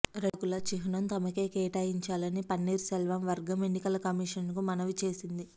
రెండాకుల చిహ్నం తమకే కేటాయించాలని పన్నీర్ సెల్వం వర్గం ఎన్నికల కమిషన్ కు మనవి చేసింది